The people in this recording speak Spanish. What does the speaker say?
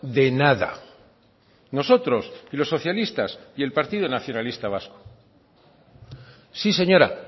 de nada nosotros y los socialistas y el partido nacionalista vasco sí señora